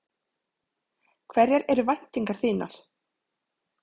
Hverjar eru væntingar þínar?